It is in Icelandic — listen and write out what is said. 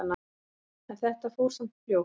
En þetta fór samt fljótt.